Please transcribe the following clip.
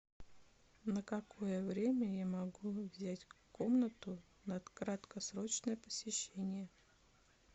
на какое время я могу взять комнату на краткосрочное посещение